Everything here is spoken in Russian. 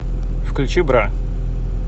включи бра